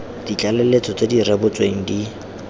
ditlaleletso tse di rebotsweng di